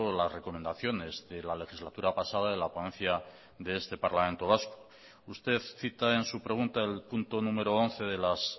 las recomendaciones de la legislatura pasada de la ponencia de este parlamento vasco usted cita en su pregunta el punto número once de las